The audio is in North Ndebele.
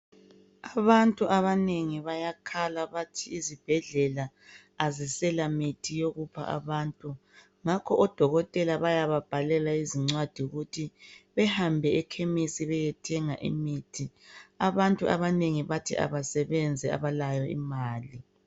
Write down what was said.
Abantu abanengi bayakhala bathi izibhedlela azisela mithi yokupha abantu ngakho odokotela bayaba bhalela izincwadi ukuthi behambe ekhemisi beyethenga imithi. Abantu abanengi bathi abasebenzi abalayo imali.